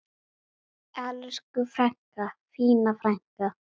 Elsku frænka, fína frænka.